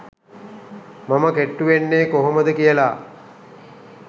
මම කෙට්ටු වෙන්නේ කොහොමද කියලා